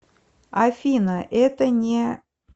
афина это не